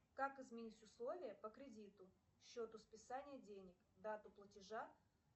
как изменить условия по кредиту счету списания денег дату платежа